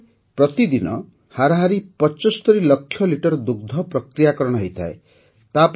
ଏଠାରେ ପ୍ରତିଦିନ ହାରାହାରି ୭୫ ଲକ୍ଷ ଲିଟର ଦୁଗ୍ଧ ପ୍ରକ୍ରିୟାକରଣ ହୋଇଥାଏ